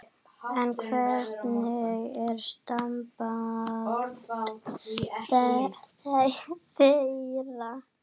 En hvernig er samband þeirra?